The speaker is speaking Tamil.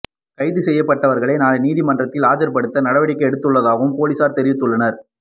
கைது செய்யபட்டவர்களை நாளை நீதிமன்றில் ஆஜர்படுத்த நடவடிக்கை எடுத்துள்ளதாகவும் பொலிஸார் தெரிவித்துள்ளனர்